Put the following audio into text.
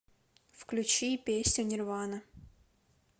включи песню нирвана